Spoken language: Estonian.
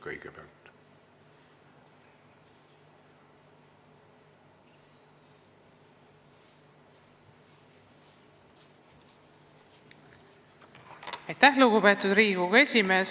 Lugupeetud Riigikogu esimees!